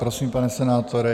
Prosím, pane senátore.